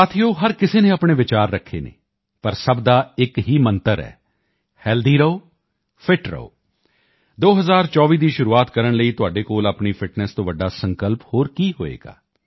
ਸਾਥੀਓ ਹਰ ਕਿਸੇ ਨੇ ਆਪਣੇ ਵਿਚਾਰ ਰੱਖੇ ਹਨ ਪਰ ਸਭ ਦਾ ਇੱਕ ਹੀ ਮੰਤਰ ਹੈ ਹੈਲਦੀ ਰਹੋ ਫਿਟ ਰਹੋ 2024 ਦੀ ਸ਼ੁਰੂਆਤ ਕਰਨ ਲਈ ਤੁਹਾਡੇ ਕੋਲ ਆਪਣੀ ਫਿਟਨੈੱਸ ਤੋਂ ਵੱਡਾ ਸੰਕਲਪ ਹੋਰ ਕੀ ਹੋਵੇਗਾ